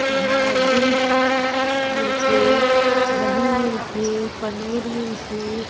इहा दूध मिलथे दही मिलथे पनीर मिलथे।